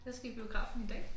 Jeg skal i biografen i dag